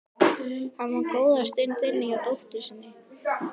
Hann var góða stund inni hjá dóttur sinni.